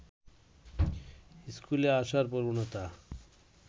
স্কুলে আসার প্রবণতা